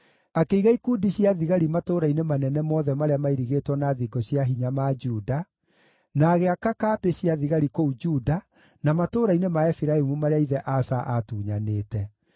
Akĩiga ikundi cia thigari matũũra-inĩ manene mothe marĩa mairigĩtwo na thingo cia hinya ma Juda, na agĩaka kambĩ cia thigari kũu Juda na matũũra-inĩ ma Efiraimu marĩa ithe Asa aatunyanĩte.